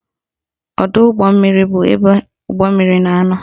Ọdọụgbọmmiri bụ ebe ụgbọmmiri na-anọ